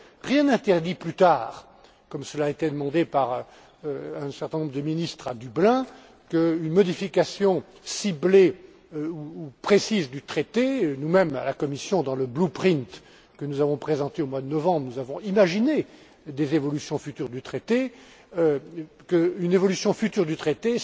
Rien n'interdit plus tard, comme cela a été demandé par un certain nombre de ministres à Dublin, qu'une modification ciblée ou précise du traité nous mêmes à la Commission dans le blue print que nous avons présenté au mois de novembre, nous avons imaginé des évolutions futures du traité